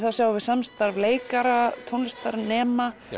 sjáum við samstarf leikara tónlistarnema